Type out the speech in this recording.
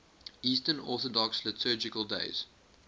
eastern orthodox liturgical days